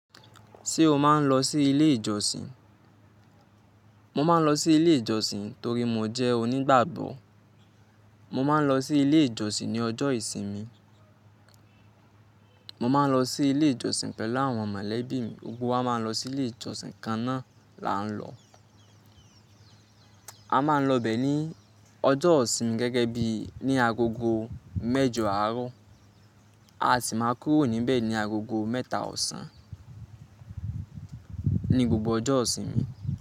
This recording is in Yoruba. Ṣé o máa ń lọ sí ilé ìjọsìn? Mo máa ń lọ sí ilé ìjọsìn torí mo jẹ́ onígbàgbọ̀. Mo máa ń lọ sí ilé ìjọsìn ní ọjọ́ ìsinmi. Mo máa ń lọ sí ilé ìjọsìn pẹ̀lú àwọn mọ̀lẹ́bí mi. Gbogbo wá máa ń lọ sí ilé ìjọsìn kan náà là ń lọ. A máa ń lọ bẹ̀ ní ọjọ́ ìsinmi gẹ́gẹ́ bí ní agogo mẹjọ àárọ̀, a sì máa kúrò níbẹ̀ ní agogo mẹ́ta ọ̀sán ní gbogbo ọjọ́ ìsinmi.